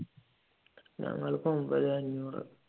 ഞങ്ങൾക്ക് ഒൻപത് അഞ്ഞൂറ്